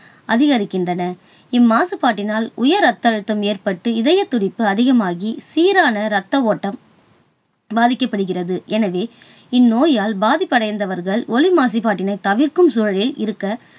அதிகரிக்கின்றன. இம்மாசுபாட்டினால் உயர் ரத்த அழுத்தம் ஏற்பட்டு, இதயத்துடிப்பு அதிகமாகி சீரான ரத்த ஓட்டம் பாதிக்கப்படுகிறது எனவே, இந்நோயால் பாதிப்படைந்தவர்கள் ஒலி மாசுபாட்டினைத் தவிர்க்கும் சூழலில் இருக்க